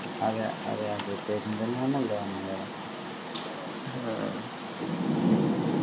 അതെ അതെ അതെ പെരിന്തൽമണ്ണ ഇല്ലാതാണ് അയാള്